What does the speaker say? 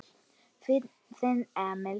Þinn Emil.